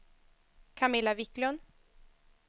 Camilla Wiklund